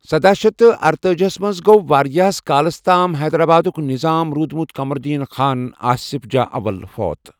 سداہ شیتھ تہٕ ارتأجی ہس منٛز گوٚو واریٛاہ کَالَس تام حیدرآبادُک نظام روٗدمُت قمر الدین خان، آصف جاہ اول فوت ۔